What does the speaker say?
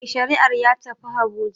Mai shari'ar ya tafi habuja